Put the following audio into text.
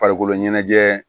Farikolo ɲɛnajɛ